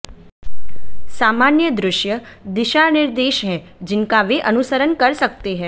सामान्य दृश्य दिशानिर्देश हैं जिनका वे अनुसरण कर सकते हैं